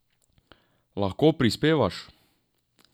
Lahko prispevaš?